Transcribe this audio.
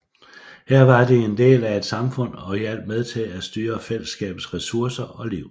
Her var de en del af et samfund og hjalp med til at styre fællesskabets ressourcer og liv